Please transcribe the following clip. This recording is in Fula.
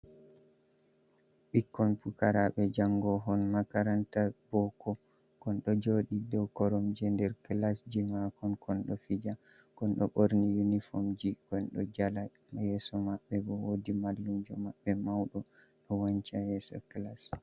Ɓikkon pukaraɓe jango hon makaranta bo ko, kon ɗo joɗi do koromje nder kilasji makon, kon ɗo fija kon do borni yunifomji, kon ɗo jala yeso maɓɓe bo wodi mallumjo maɓɓe mauɗo ɗo wancha yeso kilas.